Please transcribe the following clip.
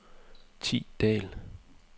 Thi Dahl